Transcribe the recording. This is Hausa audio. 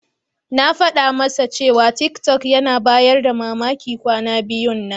Na faɗa masa cewa tiktok yana bayar da mamaki kwana biyun nan.